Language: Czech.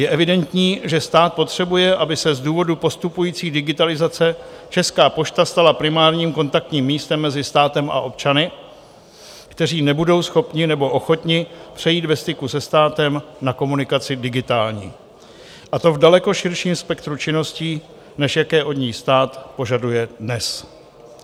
Je evidentní, že stát potřebuje, aby se z důvodu postupující digitalizace Česká pošta stala primárním kontaktním místem mezi státem a občany, kteří nebudou schopni nebo ochotni přejít ve styku se státem na komunikaci digitální, a to v daleko širším spektru činností, než jaké od ní stát požaduje dnes.